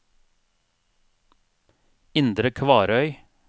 Indre Kvarøy